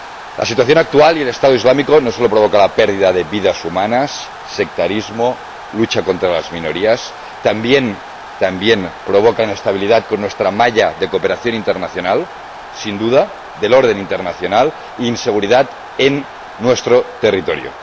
La situación actual y el Estado Islámico no solo provocan pérdidas de vidas humanas, sectarismo y lucha contra las minorías, sino que también provocan la inestabilidad de nuestra malla de cooperación internacional y del orden internacional, e inseguridad en nuestro territorio.